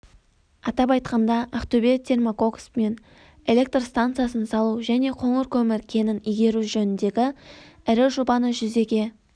атап айтқанда ақтөбе-термококс мен электр станциясын салу және қоңыр көмір кенін игеру жөніндегі ірі жобаны жүзеге